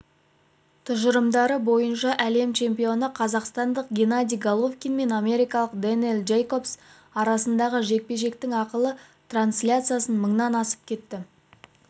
тұжырымдары бойынша әлем чемпионы қазақстандық геннадий головкин мен америкалық дэниэл джейкобс арасындағы жекпе-жектің ақылы трансляциясы мыңнан асып кетті